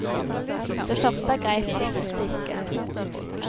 Det første er greit, det siste ikke.